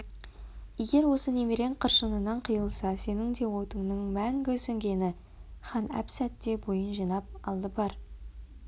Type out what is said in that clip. егер осы немерең қыршынынан қиылса сенің де отыңның мәңгі сөнгені хан әп-сәтте бойын жинап алды бар